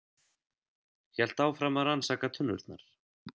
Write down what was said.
Hélt áfram að rannsaka tunnurnar.